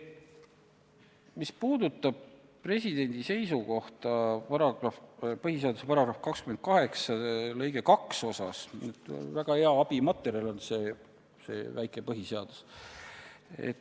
Mis puudutab presidendi seisukohta põhiseaduse § 28 lõike 2 osas, siis siin on väga heaks abimaterjaliks see väike põhiseadus.